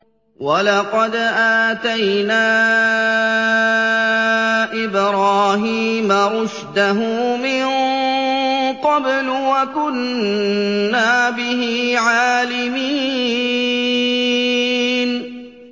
۞ وَلَقَدْ آتَيْنَا إِبْرَاهِيمَ رُشْدَهُ مِن قَبْلُ وَكُنَّا بِهِ عَالِمِينَ